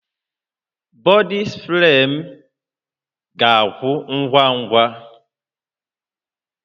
Bọdị spree m ga-agwụ ngwa ngwa